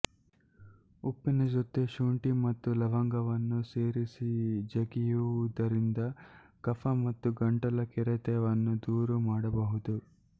ಉಪ್ಪಿನ ಜೊತೆ ಶುಂಠಿ ಮತ್ತು ಲವಂಗವನ್ನು ಸೇರಿಸಿ ಜಗಿಯುವುದರಿಂದ ಕಫ ಮತ್ತು ಗಂಟಲ ಕೆರೆತವನ್ನು ದೂರ ಮಾಡಬಹುದು